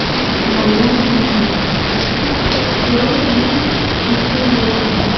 कुछ झाड़ियाँ भी हैं और कुछ कुछ पेड़ भी सूखे हुए हैं।